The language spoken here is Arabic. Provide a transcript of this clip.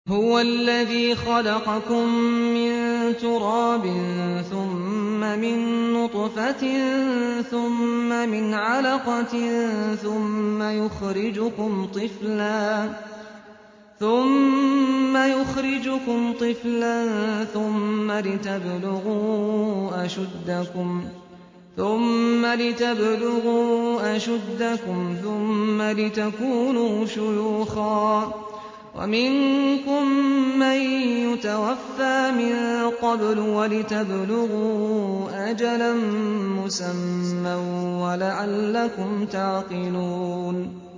هُوَ الَّذِي خَلَقَكُم مِّن تُرَابٍ ثُمَّ مِن نُّطْفَةٍ ثُمَّ مِنْ عَلَقَةٍ ثُمَّ يُخْرِجُكُمْ طِفْلًا ثُمَّ لِتَبْلُغُوا أَشُدَّكُمْ ثُمَّ لِتَكُونُوا شُيُوخًا ۚ وَمِنكُم مَّن يُتَوَفَّىٰ مِن قَبْلُ ۖ وَلِتَبْلُغُوا أَجَلًا مُّسَمًّى وَلَعَلَّكُمْ تَعْقِلُونَ